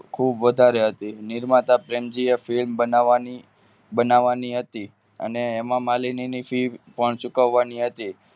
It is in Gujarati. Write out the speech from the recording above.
ખૂબ વધારે હતી નિર્માતા પ્રેમજી એ film ઓ બનાવવાની બનાવવાની હતી અને હેમામાલીની fee પણ ચૂકવવાની હતી.